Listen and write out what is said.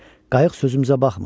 Qayıq sözümüzə baxmırdı.